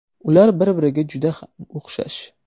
Ular bir-biriga juda ham o‘xshash.